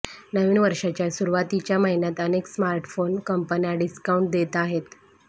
नवीन वर्षाच्या सुरुवातीच्या महिन्यात अनेक स्मार्टफोन कंपन्या डिस्काउंट देत आहेत